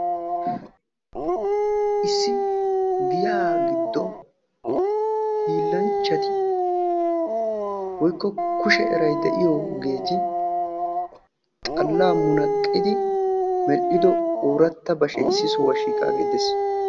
issi giya giddon hiilanchcati woykko kushe eray de'iyoogeti xalla munaqqidi medhdhido oorata bashshe issi sohuwaa shiiqaagee de'ees